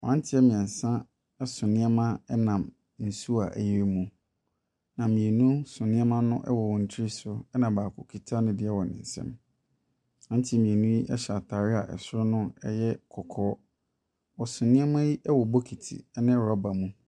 Mmeranteɛ mmeɛnsa so nneɛma nam nsuo a ayiri mu, na mmienu so nneɛma no wɔ wɔn tiri so na baako kita ne deɛ wɔn ne nsam. Mmeranteɛ mmienu yi hyɛ atare a soro no yɛ kɔkɔɔ. Wɔso nneɛma yi wɔ bokiti ne rɔba mu.